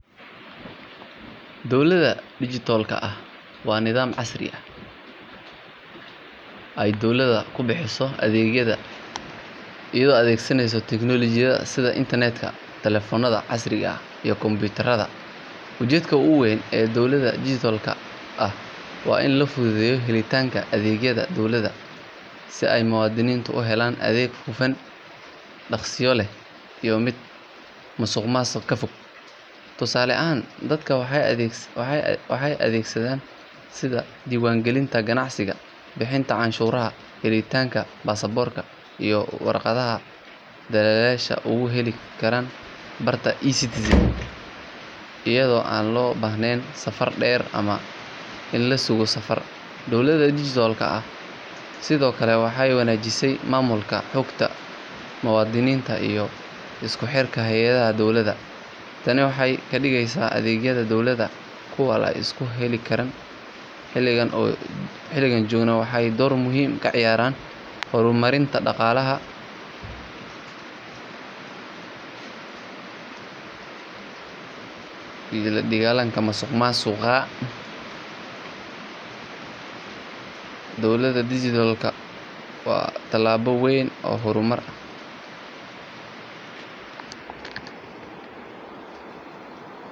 Dowladda dijitaalka ah waa nidaam casri ah oo ay dowladda ku bixiso adeegyada iyadoo la adeegsanayo teknoolojiyada sida internetka, telefoonada casriga ah iyo kombiyuutarada. Ujeedada ugu weyn ee dowladda dijitaalka ah waa in la fududeeyo helitaanka adeegyada dowladda si ay muwaadiniintu u helaan adeeg hufan, dhaqsiyo leh iyo mid musuqmaasuq ka fog. Tusaale ahaan dadka waxay adeegyada sida diiwaangelinta ganacsiga, bixinta canshuuraha, helitaanka baasaboorka iyo warqadaha dhalashada uga heli karaan barta eCitizen iyadoo aan loo baahnayn safar dheer ama in la sugo saf. Dowladda dijitaalka ah sidoo kale waxay wanaajisaa maamulka xogta muwaadiniinta iyo isku xirka hay’adaha dowladda. Tani waxay ka dhigaysaa adeegyada dowladda kuwo la isku halleyn karo, xilligan la joogana waxay door muhiim ah ka ciyaaraysaa horumarinta dhaqaalaha iyo la dagaalanka musuqmaasuqa. Dowladda dijitaalka ah waa tallaabo weyn oo horumar ah.